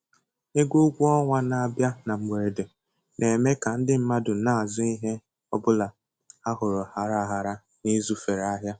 Ego ụgwọ ọnwa na-abịa na mgberede na-eme ka ndị mmadụ na-azụ ihe ọ bụla ha hụrụ aghara aghara na ịzụfere ahịa.